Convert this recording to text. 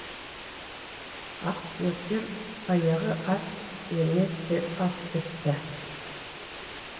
ақсүйектер баяғы ас еместі ас депті